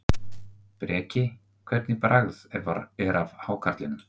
Breki: Hvernig bragð er af hákarlinum?